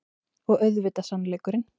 Og auðvitað sannleikurinn.